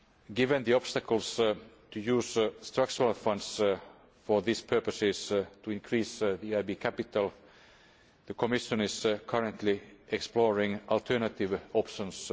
given the obstacles to using Structural Funds for these purposes to increase the EIB's capital. The Commission is currently exploring alternative options.